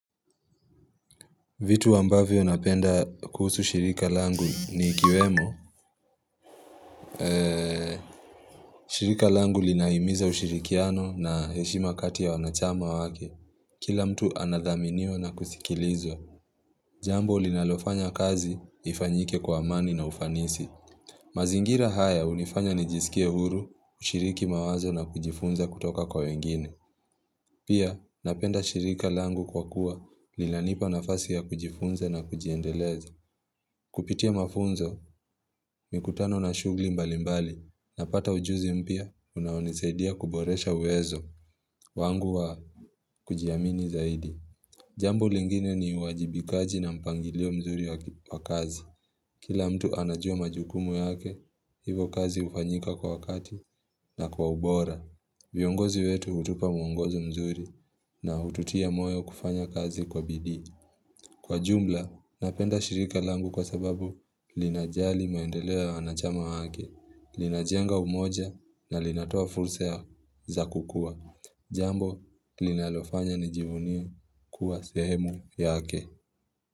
Vitu ambavyo napenda kuhusu shirika langu ni ikiwemo. Shirika langu linahimiza ushirikiano na heshima kati ya wanachama wake. Kila mtu anadhaminiwa na kusikilizwa. Jambo linalofanya kazi ifanyike kwa amani na ufanisi. Mazingira haya hunifanya nijisikie huru, kushiriki mawazo na kujifunza kutoka kwa wengine. Pia napenda shirika langu kwa kuwa linanipa nafasi ya kujifunza na kujiendeleza. Kupitia mafunzo, mikutano na shughuli mbali mbali, napata ujuzi mpya, unaonisaidia kuboresha uwezo, wangu wa kujiamini zaidi. Jambo lingine ni uajibikaji na mpangilio mzuri wa kazi. Kila mtu anajua majukumu yake, hivo kazi hufanyika kwa wakati na kwa ubora. Viongozi wetu hutupa muongozo mzuri na hututia moyo kufanya kazi kwa bidii. Kwa jumla, napenda shirika langu kwa sababu linajali maendeleo ya wanachama wake, linajenga umoja na linatoa fursa za kukua. Jambo, linalofanya nijivunie kuwa sehemu yake.